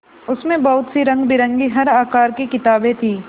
उसमें बहुत सी रंगबिरंगी हर आकार की किताबें थीं